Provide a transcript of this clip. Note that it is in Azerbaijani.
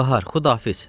Bahar, xudahafiz!